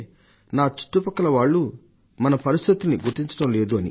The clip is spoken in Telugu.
నా చుట్టుపక్కల ఉన్నవాళ్లు మన పరిస్థితుల్ని గుర్తించడం లేదు అని